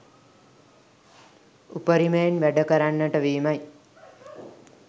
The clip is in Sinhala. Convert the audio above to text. උපරිමයෙන් වැඩ කරන්නට වීමයි.